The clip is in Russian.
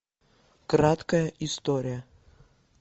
краткая история